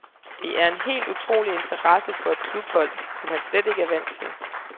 Det er en helt utrolig interesse for et klubhold, som han slet ikke er vant til.